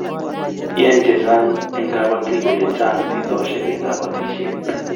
iani chechang eng kabatik kole chang shidoshek eng kabatishiet